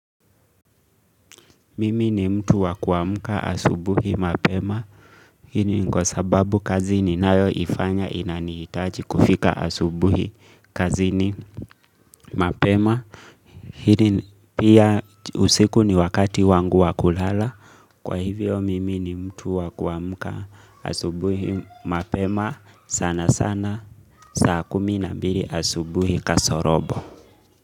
Mimi ni mtu wa kuamka asubuhi mapema. Hii ni kwa sababu kazi ninayoifanya inanihitaji kufika asubuhi kazini mapema. Hili pia usiku ni wakati wangu wa kulala. Kwa hivyo mimi ni mtu wa kuamka asubuhi mapema. Sana sana. Saa kumi na mbili asubuhi kasorobo.